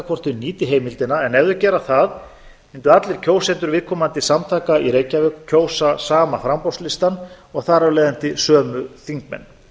hvort þau nýti heimildina en ef þau þau gera það mundu allir kjósendur viðkomandi samtaka í reykjavík kjósa sama framboðslistann og þar af leiðandi sömu þingmenn